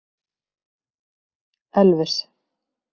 Elvis